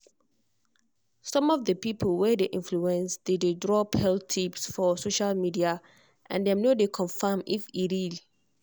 some of the people wey dey influence dey drop health tips for social media and dem no dey confirm if e dey real.